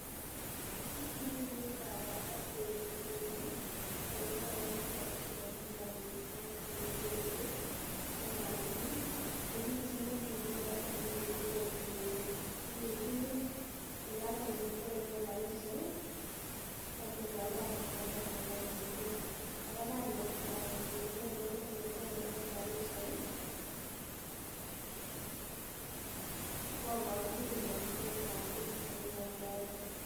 Kit nekiib kabwatet kekuren eletonone karisiek en Homabay county njerii ko ngamun kimi chi nekimi yoton nekikikuren njerii akiit oloton eletelelen karisiek akikoi kaina naton ne bo njerii, kora kainetab njerii eletononen karisiek koboru kipnotetab biik chemii oloton.